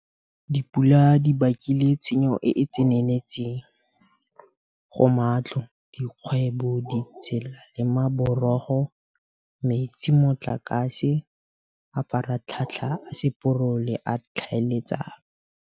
Dipula di bakile tshenyo e e tseneletseng go matlo, dikgwebo, ditsela le maborogo, metsi, motlakase, mafaratlhatlha a seporo le a tlhaeletsano.